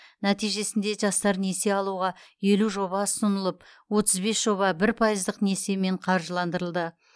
нәтижесінде жастар несие алуға елу жоба ұсынылып отыз бес жоба бір пайыздық несиемен қаржыландырылды